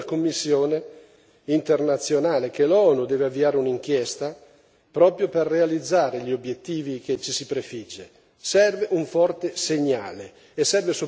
Ecco, bisognerebbe dire questo, bisognerebbe dire che serve una commissione internazionale, che l'ONU deve avviare un'inchiesta proprio per realizzare gli obiettivi che ci si prefigge.